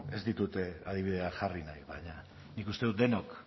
ez ditut adibideak jarri nahi baina nik uste dut denok